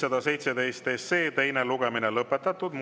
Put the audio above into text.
Muudatusettepanekute esitamise tähtaeg on käesoleva aasta 20. november kell 17.15.